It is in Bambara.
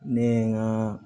Ne ye n ka